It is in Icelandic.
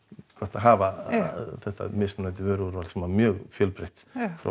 að hafa þetta mismunandi vöruúrval sem var mjög fjölbreytt frá